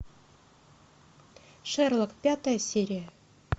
шерлок пятая серия